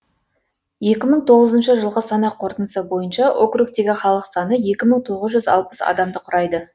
екі мың тоғызыншы жылғы санақ қорытындысы бойынша округтегі халық саны екі мың тоғыз жүз алпыс адамды құрайды